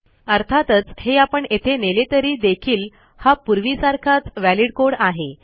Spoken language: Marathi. अर्थातच हे आपण येथे नेले तरी देखील हा पूर्वीसारखाच वलिद कोड आहे